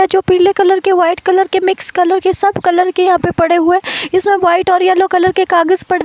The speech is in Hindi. जो पीले कलर के वाइट कलर के मिक्स कलर के सब कलर के यहां पे पड़े हुए हैं इसमें वाइट और येलो कलर के कागज़